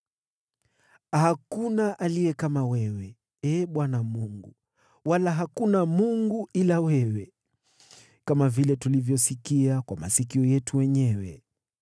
“Hakuna aliye kama wewe, Ee Bwana Mungu, wala hakuna Mungu ila wewe, kama vile tulivyosikia kwa masikio yetu wenyewe.